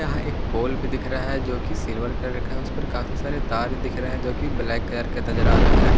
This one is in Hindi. यहां एक पोल भी दिख रहा है जोकि सिल्वर कलर का है उसपर काफी सारे तार दिख रहे हैं जोकि ब्लैक कलर का नजर आ रहा है।